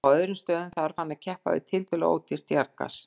Á öðrum stöðum þarf hann að keppa við tiltölulega ódýrt jarðgas.